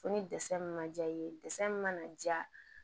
Fo ni ma ja ye min mana ja